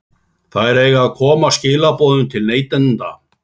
Þær eiga að koma skilaboðum til neytenda.